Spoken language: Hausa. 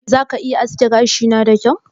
Za ka iya aske gashina da kyau?